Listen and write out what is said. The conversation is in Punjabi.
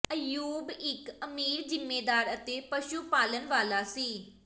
ਅੱਯੂਬ ਇੱਕ ਅਮੀਰ ਜ਼ਿਮੀਂਦਾਰ ਅਤੇ ਪਸ਼ੂ ਪਾਲਣ ਵਾਲਾ ਸੀ